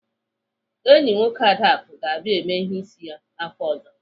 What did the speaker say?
Enyi nwoke Adaku ga-abịa ème ihe ísí ya afọ ọ̀zọ́.